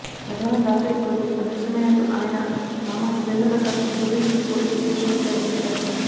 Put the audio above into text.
గతవారం దాసరి ప్రభు అదృశ్యమైనట్టు ఆయన మామ సురేంద్రప్రసాద్ జూబ్లీహిల్స్ పోలీసు స్టేషన్లో ఫిర్యాదు చేశారు